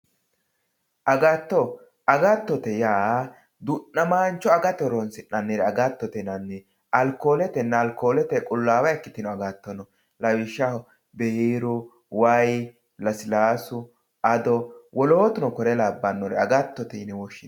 Agatto, agattote yaa du'nnamancho agate horonisinnannire agatotte yinnanni. Alikoletenna alkolete qulawa ikkitino agato no, lawishaho biiru, wayi, lasilaasu, ado wolootuno kore labanore agatotte yine woshinanni